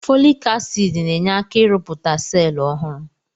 Fọlik asid na-enye aka ị rụpụta selụ ọhụrụ.